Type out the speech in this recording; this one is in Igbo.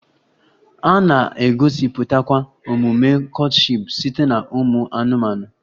A na-egosipụtakwa omume courtship site na ụmụ anụmanụ